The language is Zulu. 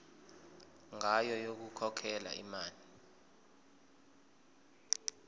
ngayo yokukhokhela imali